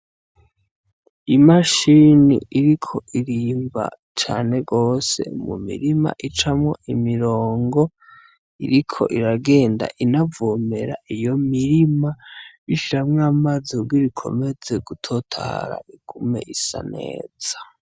I mashini iriko irimba cane gose mu mirima icamwo imirongo iriko iragenda inavomera iyo mirima ishiramwo amazi kugira ikomeze gu totahara igume isa neza.